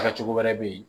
Kɛ cogo wɛrɛ be yen